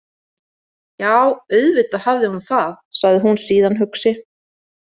Já, auðvitað hafði hún það, sagði hún síðan hugsi.